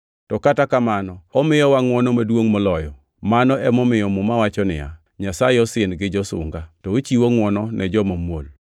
To kata kamano omiyowa ngʼwono maduongʼ moloyo, mano emomiyo Muma wacho niya, “Nyasaye osin gi josunga, to ochiwo ngʼwono ne joma muol.” + 4:6 \+xt Nge 3:34\+xt*